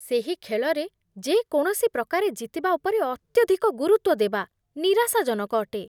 ସେହି ଖେଳରେ ଯେ କୌଣସି ପ୍ରକାରେ ଜିତିବା ଉପରେ ଅତ୍ୟଧିକ ଗୁରୁତ୍ୱ ଦେବା ନିରାଶାଜନକ ଅଟେ।